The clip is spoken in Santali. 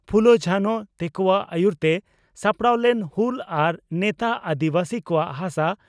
ᱯᱷᱩᱞᱚ ᱡᱷᱟᱱᱚ ᱛᱮᱠᱚᱣᱟᱜ ᱟᱹᱭᱩᱨᱛᱮ ᱥᱟᱯᱲᱟᱣ ᱞᱮᱱ ᱦᱩᱞ ᱟᱨ ᱱᱮᱛᱟᱜ ᱟᱹᱫᱤᱵᱟᱹᱥᱤ ᱠᱚᱣᱟᱜ ᱦᱟᱥᱟ